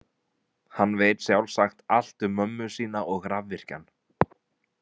Hann veit sjálfsagt allt um mömmu sína og rafvirkjann.